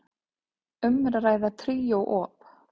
Um er að ræða tríó op.